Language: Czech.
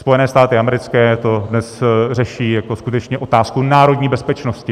Spojené státy americké to dnes řeší jako skutečně otázku národní bezpečnosti.